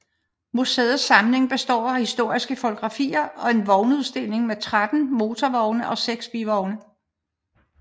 Museets samling består af historiske fotografier og en vognudstilling med 13 motorvogne og 6 bivogne